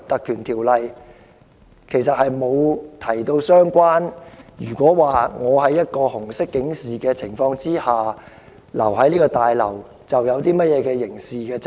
《條例》沒有條文訂明，如果有人在紅色警示生效期間逗留在綜合大樓內會有刑事責任。